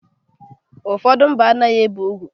Ụfọdụ mba a naghị ebe ugwu.